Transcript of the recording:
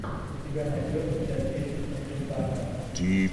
у тебя найдется часть десять консультанта